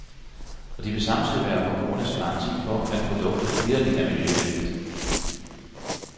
Og de vil samtidig være forbrugernes garanti for, at produktet vitterlig er miljøvenligt.